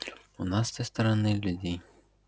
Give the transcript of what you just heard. у нас с той стороны людей